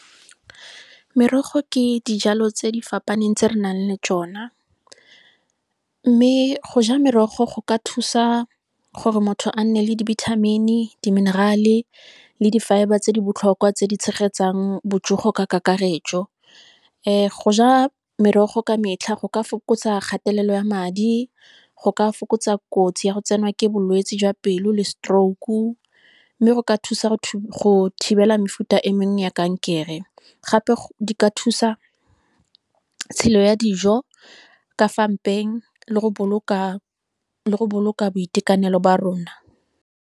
Merogo ke dijalo tse di fapaneng tse re nang le tsona, mme go ja merogo go ka thusa gore motho a nne le di-vitamin-e, di-mineral-e, le di-fibre tse di botlhokwa tse di tshegetsang botsogo ka kakaretso. Go ja merogo ka metlha go ka fokotsa kgatelelo ya madi, go ka fokotsa kotsi ya go tsenwa ke bolwetsi jwa pelo, le stroke. Mme go ka thusa go thibela mefuta e mengwe ya kankere. Gape di ka thusa tshelo ya dijo, ka fa mpeng le go boloka boitekanelo ba rona.